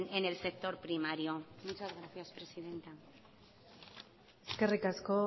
en el sector primario muchas gracias presidenta eskerrik asko